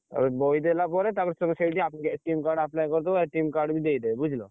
ତାପରେ ବହି ଦେଲା ପରେ ତାପରେ ତମେ ସେଇଠି card apply କରିଦବ card ବି ଦେଇଦେବେ ବୁଝିଲ।